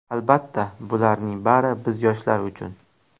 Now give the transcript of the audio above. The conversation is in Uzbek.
Albatta, bularning bari biz yoshlar uchun.